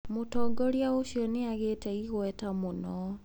Mũtongoria ũcio nĩ agĩĩte igweta mũno.